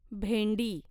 भेंडी